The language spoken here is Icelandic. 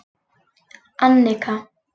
Annika